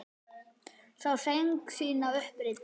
Sá sæng sína upp reidda.